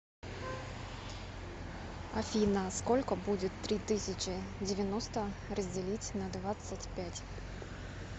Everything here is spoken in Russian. афина сколько будет три тысячи девяносто разделить на двадцать пять